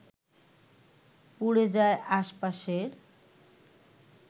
পুড়ে যায় আশপাশের